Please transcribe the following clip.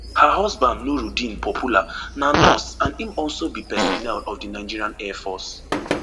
her husband nurudeen popoola na nurse and im also be personnel of di nigerian airforce